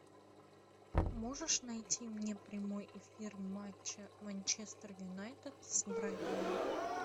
можешь найти мне прямой эфир матча манчестер юнайтед с брайтоном